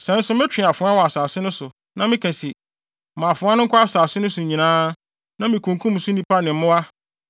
“Sɛ nso metwe afoa wɔ asase no so, na meka se, ‘Ma afoa no nkɔ asase no so nyinaa,’ na mikunkum so nnipa ne wɔn mmoa,